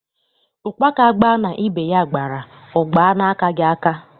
Ụkpaka gbaa na ibe ya gbara, ọ gbaa n’akaghị aka.